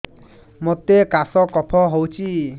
ମୋତେ କାଶ କଫ ହଉଚି